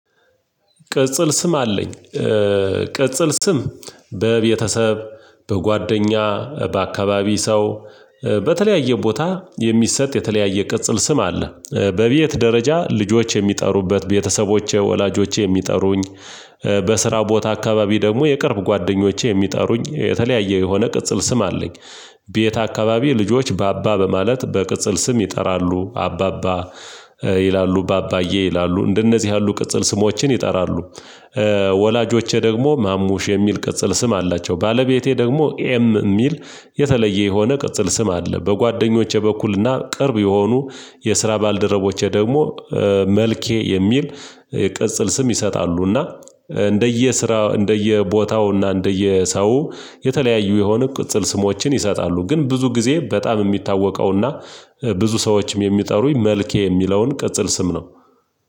ቅጽል ስም አለኝ። ቅጽል ስም በቤተሰብ በጓደኛ በአካባቢ ሰው በተለያየ ቦታ የሚሰጥ የተለያየ ቅጽል ስም አለ። በቤት ደረጃ ልጆች የሚጠሩበት ቤተሰቦቼ ወላጆቼ የሚጠሩኝ በስራ ቦታ አካባቢ ደግሞ የቅርብ ጓደኞቼ የሚጠሩኝ የተለያየ የሆነ ቅጽል ስም አለኝ። ቤት አካባቢ ልጆች ባባ በማለት በቅጽል ስም ይጠራሉ አባባ ይላሉ ባባዬ ይላሉ እንደነዚህ ያሉ ቅጽል ስሞችን ይጠራሉ። ወላጆቼ ደግሞ ማሙሽ የሚል ቅጽል ስም አላቸው። ባለቤቴ ደግሞ ኤም የሚል የተለየ የሆነ ቅጽል ስም አለ። በጓደኞቼ በኩልና ቅርብ የሆኑ የስራ ባልደረቦቼ ደግሞ መልኬ የሚል የቅጽል ስም ይሰጣሉና እንደየ ስራ እንደየ ቦታውና እንደየ ሰው የተለያዩ የሆነ ቅጽል ስሞችን ይሰጣሉ። ግን ብዙ ጊዜ በጣም የሚታወቀውና ብዙ ሰዎችም የሚጠሩኝ መልኬ የሚለውን ቅጽል ስም ነው።